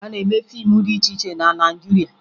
A na-eme fiimu dị iche iche na Naịjirịa